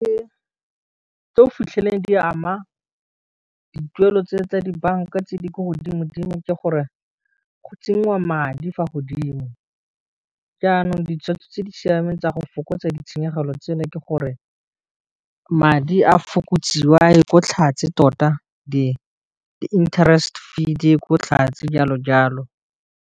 Tse o fitlheleleng di ama dituelo tse tsa dibanka tse di ko godimo dimo ke gore, go tsenngwa madi fa godimo, jaanong di tshweotso tse di siameng tsa go fokotsa ditshenyegelo tseno ke gore, madi a fokotsiwe a ye ko tlhatswe tota di-interest fee di ye ko tlhase jalo jalo.